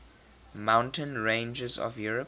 mountain ranges of europe